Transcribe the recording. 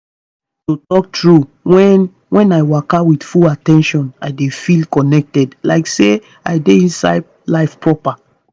to talk true when when i waka with full at ten tion i dey feel connected like say i dey inside life proper.